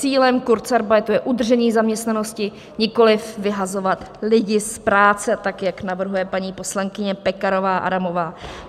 Cílem kurzarbeitu je udržení zaměstnanosti, nikoli vyhazovat lidi z práce, tak jak navrhuje paní poslankyně Pekarová Adamová.